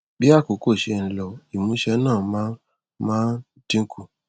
bí àkókò ṣe ń lọ ìmúṣe náà máa ń máa ń dín kù